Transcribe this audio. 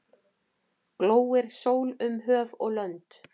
Glóir sól um höf og lönd.